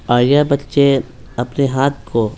और यह बच्चे अपने हाथ को---